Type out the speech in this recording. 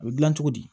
A bɛ dilan cogo di